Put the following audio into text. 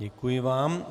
Děkuji vám.